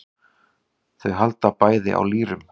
Þau halda bæði á lýrum.